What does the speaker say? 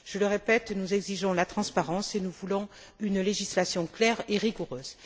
Je le répète, nous exigeons la transparence, et nous voulons une législation claire et rigoureuse.